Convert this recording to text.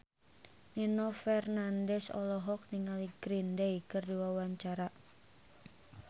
Nino Fernandez olohok ningali Green Day keur diwawancara